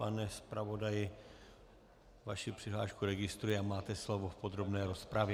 Pane zpravodaji, vaši přihlášku registruji a máte slovo v podrobné rozpravě.